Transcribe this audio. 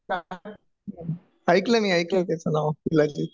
हा ऐकलय मी ऐकले त्याचं नाव शिलाजीत